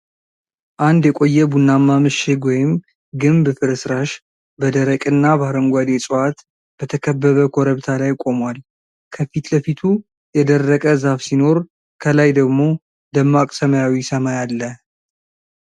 አንድ የቆየ ቡናማ ምሽግ ወይም ግንብ ፍርስራሽ በደረቅና በአረንጓዴ ዕፅዋት በተከበበ ኮረብታ ላይ ቆሟል። ከፊት ለፊቱ የደረቀ ዛፍ ሲኖር፣ ከላይ ደግሞ ደማቅ ሰማያዊ ሰማይ አለ።